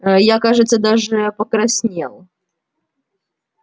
а я кажется даже покраснел